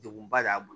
Degunba de y'an bolo